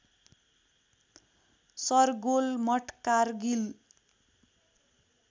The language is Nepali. शरगोल मठ कारगिल